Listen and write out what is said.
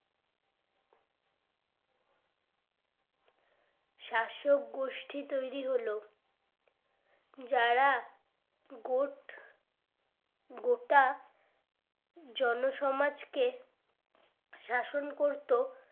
শাসক গোষ্ঠী তৈরী হলো যারা গট গোটা জন সমাজ কে শাসন করতো